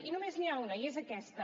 i només n’hi ha una i és aquesta